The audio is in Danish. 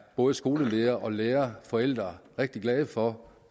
både skoleledere lærere og forældre er rigtig glade for